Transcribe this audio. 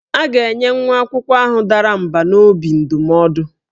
A ga-enye nwa akwụkwọ ahụ dara mbà n'obi ndụmọdụ